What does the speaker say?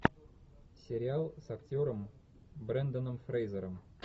сериал с актером бренданом фрейзером